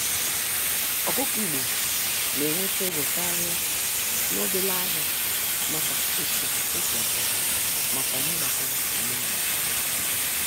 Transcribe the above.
Ọkụkọ igbo na-enwete ego karịa n'obele ahịa maka etu osi atọ makwa ihe gbasara omenala.